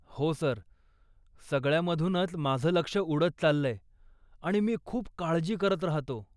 हो सर, सगळ्यामधूनचं माझं लक्ष उडत चाललंय, आणि मी खूप काळजी करत राहतो.